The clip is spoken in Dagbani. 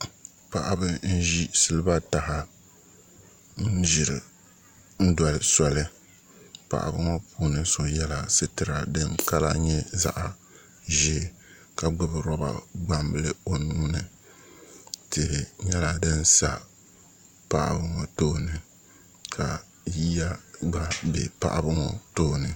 Paɣaba n ʒiri siliba taha n doli soli paɣaba ŋo puuni so yɛla sitira din kama nyɛ zaɣ ʒiɛ ka gbubi roba gbambili o nuuni tihi nyɛla din sa paɣaba ŋo tooni ka yiya gba bɛ paɣaba ŋo tooni